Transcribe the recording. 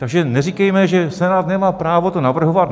Takže neříkejme, že Senát nemá právo to navrhovat.